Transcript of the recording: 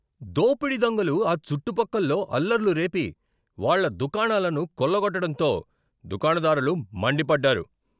దోపిడీ దొంగలు ఆ చుట్టుపక్కల్లో అల్లర్లు రేపి, వాళ్ళ దుకాణాలను కొల్లగొట్టడంతో దుకాణదారులు మండిపడ్డారు.